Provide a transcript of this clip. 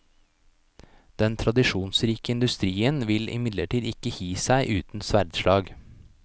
Den tradisjonsrike industrien vil imidlertid ikke gi seg uten sverdslag.